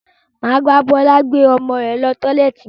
Maa ba Bọlá gbé ọmọ rẹ lọ tọ́lẹ́ẹ́tì